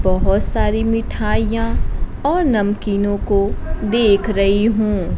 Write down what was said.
बहोत सारी मिठाइयां और नमकीनो को देख रही हूं।